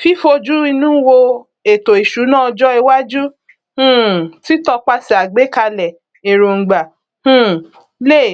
fífojúinú wo ètòìṣúná ọjọ iwájú um títọpaṣẹ àgbékalẹ èròngbà um lè